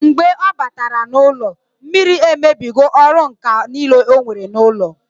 Mgbe ọ batara n'ụlọ, mmiri emebigo ọrụ ǹkà niile onwere n'ụlọ